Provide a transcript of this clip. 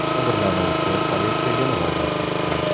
Jabrlanuvchi politsiyaga murojaat etgan.